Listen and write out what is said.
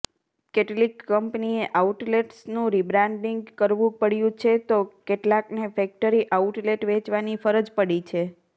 કેટલીક કંપનીએ આઉટલેટ્સનું રિબ્રાન્ડિંગ કરવું પડ્યું છે તો કેટલાકને ફેક્ટરી આઉટલેટ વેચવાની ફરજ પડી છે